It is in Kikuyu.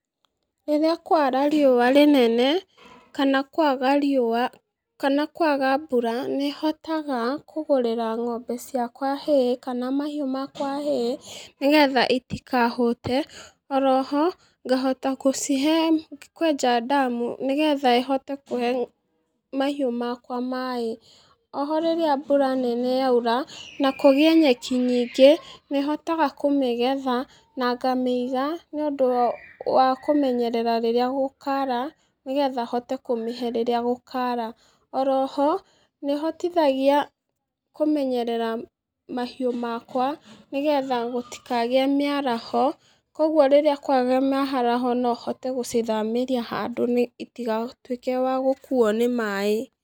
Rĩrĩa kwara riũa rĩnene, kana kwaga riũa, kana kwaga mbura, nĩhotaga kũgũrĩra ng'ombe ciakwa hay kana mahiũ ciakwa hay, nĩgetha itikahũte, oroho, ngahote kũcihe, kwenja ndamu, nĩgetha ĩhote kũhe mahiũ makwa maĩ, oho rĩrĩa mbura nene yaura, na kũgĩe nyeki nyingĩ, nĩhotaga kũmĩgetha, na ngamĩiga, nĩũndũ wa kũmenyerera rĩrĩa gũkara, nĩgetha hote kũmĩhe rĩrĩa gũkara, oro ho, nĩhotihtagia kũmenyerera mahiũ makwa, nĩgetha gũtikagĩe mĩaraho, koguo rĩrĩa kwagĩa maĩaraho no hote gũcithamĩria handũ nĩ itigatuĩke wa gũkuo nĩ maĩ.